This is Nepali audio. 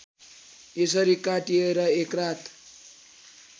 यसरी काटिएर एकरात